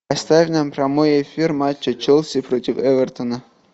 поставь нам прямой эфир матча челси против эвертона